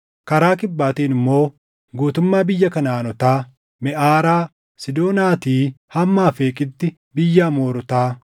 karaa kibbaatiin immoo guutummaa biyya Kanaʼaanotaa, Meʼaaraa Siidoonaatii hamma Afeeqiitti biyya Amoorotaa